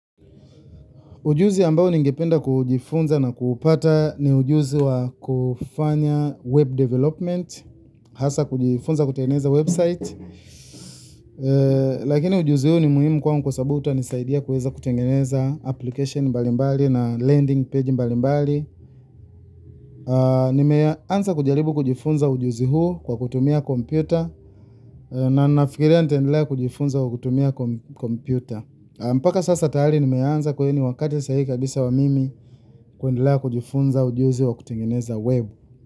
Ujuzi ambao ningependa kujifunza na kuupata ni ujuzi wa kufanya web development hasa kujifunza kutengeneza website lakini ujuzi huu ni muhimu kwangu kwa sababu utanisaidia kuweza kutengezea applications mbalimbali na landing page mbalimbali. Nimeanza kujaribu kujifunza ujuzi huu kwa kutumia kompyuta na nafikiria nitaendelea kujifunza kutumia kompyuta mpaka sasa tayari nimeanza kwa hiyo ni wakati saa hii kabisa wa mimi kuendelea kujifunza ujuzi wa kutengeneza web.